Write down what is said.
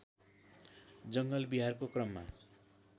जङ्गल बिहारको क्रममा